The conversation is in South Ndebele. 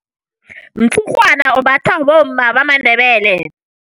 Umtshurhwana umbathwa bomma bamaNdebele.